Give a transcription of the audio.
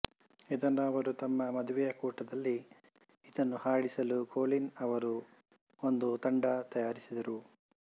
ಇದನ್ನು ಅವರು ತಮ್ಮ ಮದುವೆಯ ಕೂಟದಲ್ಲಿ ಇದನ್ನು ಹಾಡಿಸಲು ಕೊಲೀನ್ ಅವರು ಒಂದು ತಂಡ ತಯಾರಿಸಿದರು